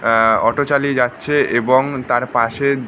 আহ auto চালিয়ে যাচ্ছে এবং তারপাশে--